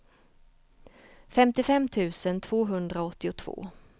femtiofem tusen tvåhundraåttiotvå